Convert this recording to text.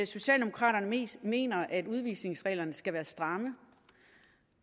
socialdemokraterne mener at udvisningsreglerne skal være stramme